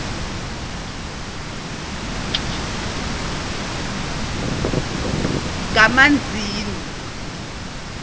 kamanzini